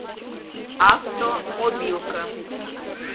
автомобилка